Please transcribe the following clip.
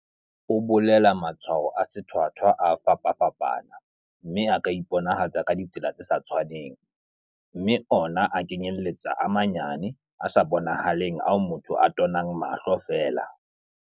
O bolela ha matshwao a sethwathwa a fapafapana, mme a ka iponahatsa ka ditsela tse sa tshwaneng, mme ona a kenyeletsa a manyane, a sa bonahaleng ao motho a tonang mahlo feela.